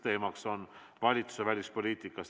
Teemaks on valitsuse välispoliitika.